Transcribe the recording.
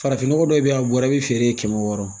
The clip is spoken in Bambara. Farafinnɔgɔ dɔw bɛ yen a bɔra i bɛ feere kɛmɛ wɔɔrɔ